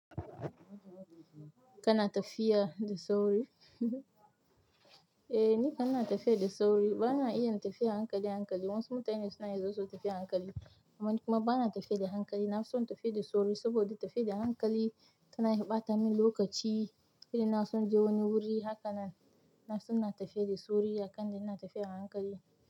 Kana tafiya da sauri? Eh, ni kana tafiya da sauri. Bana iya yin tafiya a hankali a hankali wasu mutane suna yanzu su tafiya hankali amma ni kuma bana tafiya da hankali. Na fi son tafiya da sauri saboda tafiya da hankali tana ɓata min lokaci. Irin inason je wani wuri haka nan, na fi son na tafiya da sauri a kan ina tafiya a hankali.